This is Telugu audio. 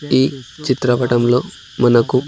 ఈ చిత్రపటంలో మనకు--